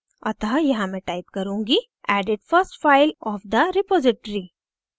अतः यहाँ मैं type करुँगी: added first file of the repository